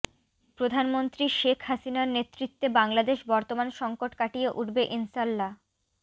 প্রধানমন্ত্রী শেখ হাসিনারর নেতৃত্বে বাংলাদেশ বর্তমান সংকট কাটিয়ে উঠবে ইনশাল্লাহ